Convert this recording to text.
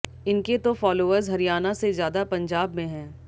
इनके तो फॉलोअर्स हरियाणा से ज्यादा पंजाब में हैं